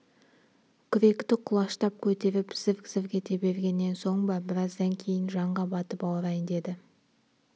күректі құлаштап көтеріп зірк-зірк ете бергеннен соң ба біраздан кейін жанға батып ауырайын деді